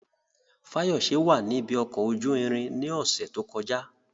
Fayose wà ní ibi ọkọ̀ ojú irin ní ọ̀sẹ̀ tó kọjá.